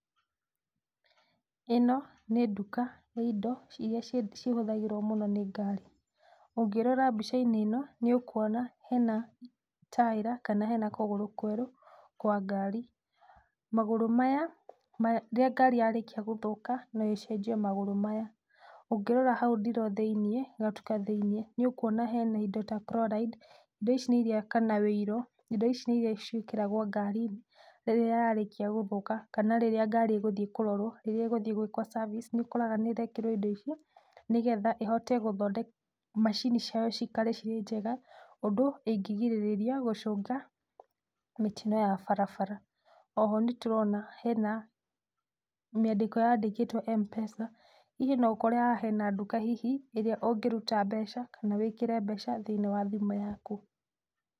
Ĩno nĩ duka ya indo iria ihũthagĩrwo mũno nĩ ngari, ũngĩrora mbica-inĩ ĩno nĩ ũkwona hena taĩra kana hena kũgũrũ kwerũ kwa ngari, magũrũ maya rĩrĩa ngari ya rĩkia gũthũka no ĩcenjio magũrũ maya. Ũngĩrora hau ndiro thĩinĩ hau gatuka-inĩ thĩinĩ nĩ ũkwona hena indo ta Chloride, indo ici kana wũiro indo ici nĩ iria ciĩkĩragwo ngari-inĩ rĩrĩa ngari yarĩkia gũthũka kana rĩrĩa ngari ĩgũthiĩ kũrorwo kana ngari ĩrekwo service nĩ ũkoraga nĩrekĩrwo indo icio nĩgetha macini ciayo cikare ciĩ njega ũndũ ũngĩgirĩrĩria gũcũngĩra mĩtino ya barabara, o ho nĩtũrona hena mĩandĩko yandĩkĩtwo Mpesa, hihi no ũkore hena duka hihi ĩrĩa ũngĩruta mbeca kana wĩkĩre mbeca thĩinĩ wa thimũ yaku.